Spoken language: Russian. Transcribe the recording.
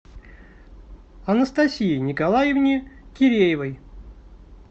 анастасии николаевне киреевой